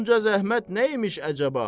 Bunca zəhmət nə imiş əcəba?